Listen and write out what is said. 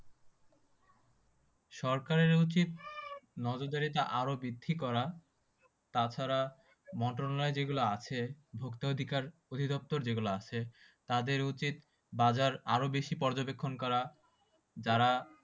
সরকারের উচিত, নজরদাড়িটা আরও বৃদ্ধি করা। তাছাড়া যেগুলো আছে, ভোক্তা অধিকার অধিদপ্তর যেগুলা আছে, তাদের উচিত বাজার আর বেশি পর্যবেক্ষণ করা। যারা